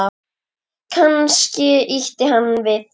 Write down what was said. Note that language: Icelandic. Kannski ýtti hann við þér?